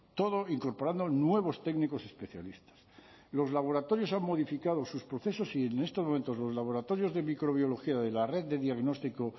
todo incorporando nuevos técnicos especialistas los laboratorios han modificado sus procesos y en estos momentos los laboratorios de microbiología de la red de diagnóstico